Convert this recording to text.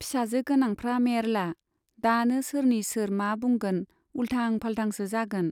फिसाजो गोनांफ्रा मेर्ला, दानो सोरनि सोर मा बुंगोन, उल्थां फाल्थांसो जागोन।